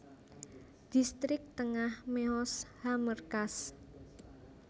Dhistrik Tengah Mehoz HaMerkaz